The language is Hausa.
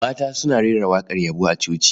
Mata suna rera waƙar yabo a coci.